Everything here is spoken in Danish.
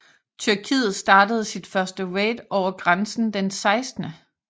Tyrkiet startede sit første raid over grænsen den 16